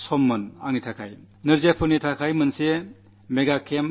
എന്നെ സംബന്ധിച്ചിടത്തോളം അത് വളരെ വികാരനിർഭരമായ നിമിഷമായിരുന്നു